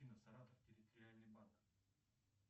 саратов территориальный банк